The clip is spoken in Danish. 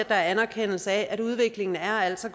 anerkendelse af at udviklingen altså